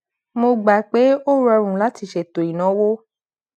mo gbà pé ó rọrùn láti ṣètò ìnáwó